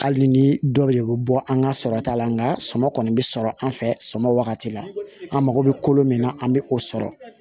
Hali ni dɔ bɛ bɔ an ka sɔrɔ ta la nka sɔmi kɔni bɛ sɔrɔ an fɛ sɔmi wagati la an mago bɛ kolo min na an bɛ o sɔrɔ